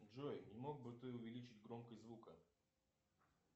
джой не мог бы ты увеличить громкость звука